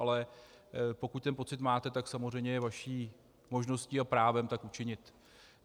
Ale pokud ten pocit máte, tak samozřejmě je vaší možností a právem tak učinit.